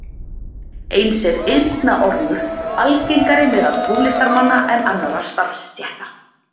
eins er eyrnaormur algengari meðal tónlistarmanna en annarra starfsstétta